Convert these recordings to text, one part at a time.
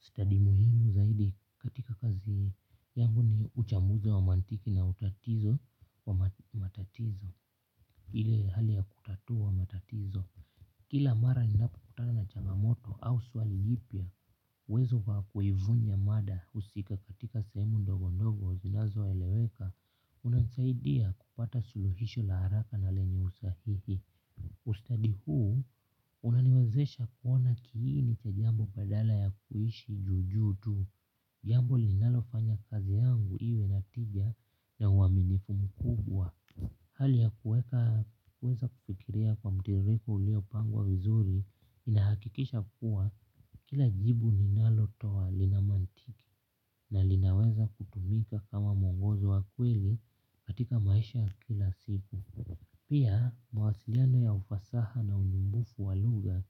Study muhimu zaidi katika kazi yangu ni uchambuzi wa mantiki na utatizo wa matatizo. Ile hali ya kutatua matatizo. Kila mara ninapokutana na changamoto au swali lipya uwezo wa kuivunja mada husika katika sehemu ndogo ndogo zinazoeleweka. Unanisaidia kupata suluhisho la haraka na lenye usahihi. Ustadi huu unaniwezesha kuona kiini cha jambo badala ya kuishi juu juu tu. Jambo linalofanya kazi yangu iwe na tija na uaminifu mkubwa. Hali ya kuweka kuweza kufikiria kwa mtiririko uliopangwa vizuri inahakikisha kuwa kila jibu ninalotoa lina mantiki. Na linaweza kutumika kama mwongozo wa kweli katika maisha ya kila siku. Pia mawasiliano ya ufasaha na unyumbufu wa lugha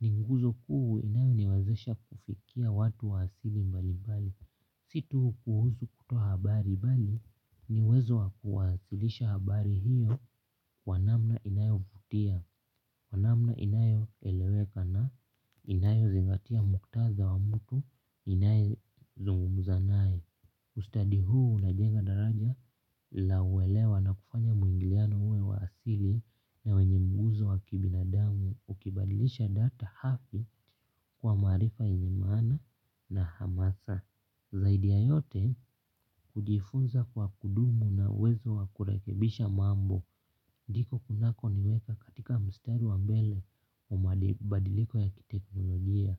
ni nguzo kuu inayoniwezesha kufikia watu wa asili mbalimbali. Si tu kuhusu kutoa habari bali ni uwezo wa kuwasilisha habari hiyo kwa namna inayovutia. Kwa namna inayoeleweka na inayozingatia muktadha wa mtu inayozungumza nae. Ustadi huu unajenga daraja la uelewa na kufanya mwingiliano uwe wa asili na wenye mguzo wa kibinadamu ukibadilisha data hafi kwa maarifa yenye maana na hamasa. Zaidi ya yote hujifunza kwa kudumu na uwezo wa kurekebisha mambo. Ndiko kunakoniweka katika mstari wa mbele wa mabadiliko ya kiteknolojia.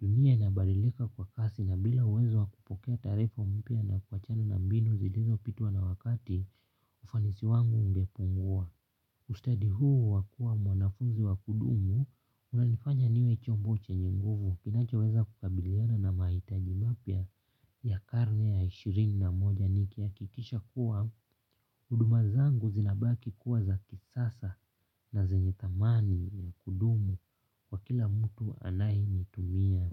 Dunia inabadilika kwa kasi na bila uwezo wa kupokea taarifa mpya na kuachana na mbinu zilizopitwa na wakati ufanisi wangu ungepungua. Ustadi huu wa kuwa mwanafunzi wa kudumu unanifanya niwe chombo chenye nguvu kinachoweza kukabiliana na mahitaji mapya ya karne ya ishirini na moja nikihakikisha kuwa huduma zangu zinabaki kuwa za kisasa na zenye thamani ya kudumu kwa kila mtu anayezitumia.